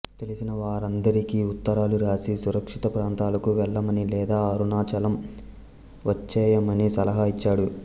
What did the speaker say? తెలిసిన వారందరికి ఉత్తరాలు వ్రాసి సురక్షిత ప్రాంతాలకు వెళ్ళమని లేదా అరుణాచలం వచ్చేయమని సలహా ఇచ్చాడు